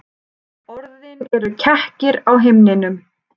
Orðin eru kekkir á himninum.